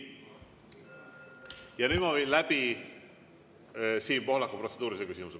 Ja nüüd ma viin läbi Siim Pohlaku protseduurilise küsimuse.